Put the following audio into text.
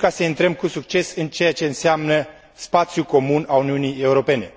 ca să intrăm cu succes în ceea ce înseamnă spațiul comun al Uniunii Europene.